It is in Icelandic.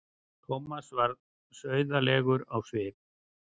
Thomas varð sauðalegur á svip.